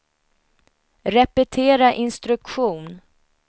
repetera instruktion